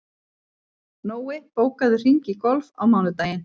Nói, bókaðu hring í golf á mánudaginn.